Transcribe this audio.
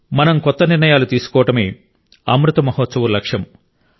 మనం కొత్త నిర్ణయాలు తీసుకోవడమే అమృత్ మహోత్సవ్ లక్ష్యం